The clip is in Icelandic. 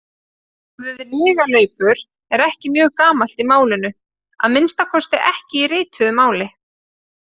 Orðið lygalaupur er ekki mjög gamalt í málinu, að minnsta kosti ekki í rituðu máli.